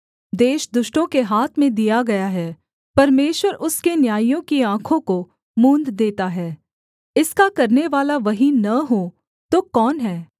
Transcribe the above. देश दुष्टों के हाथ में दिया गया है परमेश्वर उसके न्यायियों की आँखों को मूँद देता है इसका करनेवाला वही न हो तो कौन है